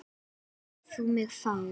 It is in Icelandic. Hvað lést þú mig fá?